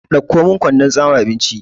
Ɗauko min kwandon tsame abinci!